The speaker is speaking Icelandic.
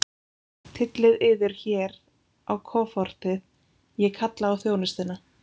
Tyllið yður hér á kofortið, ég kalla á þjónustuna.